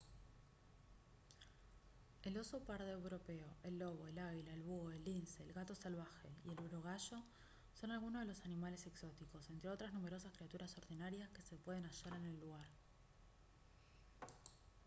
el oso pardo europeo el lobo el águila el búho el lince el gato salvaje y el urogallo son algunos de los animales exóticos entre otras numerosas criaturas ordinarias que se pueden hallar en el lugar